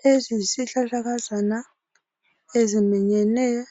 Lesi yisihlahlakazana eziminyeneyo